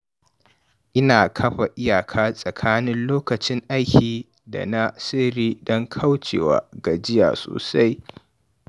Ina kafa iyaka tsakanin lokutan aiki da na sirri don kauce wa gajiya sosai.